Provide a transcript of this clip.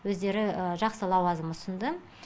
өздері жақсы лауазым ұсынды